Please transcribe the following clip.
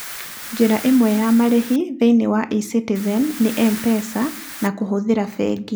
Njĩra imwe ya marĩhi thĩiniĩ wa ecitizen nĩ M-Pesa na kũhĩtũkĩra bengi.